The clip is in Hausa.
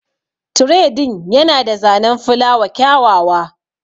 Tire din Yana da zanen filawa kyawawa